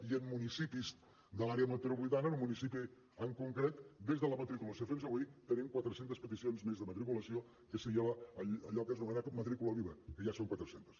i en municipis de l’àrea metropolitana en un municipi en concret des de la matriculació fins avui tenim quatre centes peticions més de matriculació que seria allò que s’anomena matrícula viva que ja són quatre centes